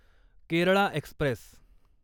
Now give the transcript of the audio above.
Kerala Express